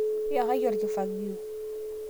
iyakaki olkifogio